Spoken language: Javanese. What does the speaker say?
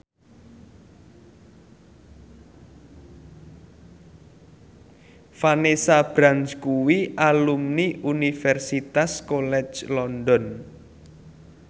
Vanessa Branch kuwi alumni Universitas College London